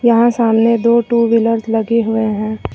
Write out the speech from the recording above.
यहां सामने दो टू व्हीलर्स लगे हुए हैं।